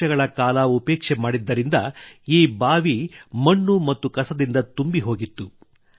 ವರ್ಷಗಳ ಕಾಲ ಉಪೇಕ್ಷೆ ಮಾಡಿದ್ದರಿಂದ ಈ ಬಾವಿ ಮಣ್ಣು ಮತ್ತು ಕಸದಿಂದ ತುಂಬಿ ಹೋಗಿತ್ತು